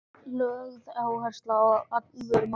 Lögð er áhersla á alvöru mat.